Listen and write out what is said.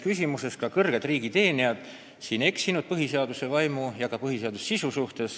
Kahjuks on ka kõrged riigiteenijad oma päris mitmes viimases sõnavõtus eksinud põhiseaduse vaimu ja ka põhiseaduse sisu vastu.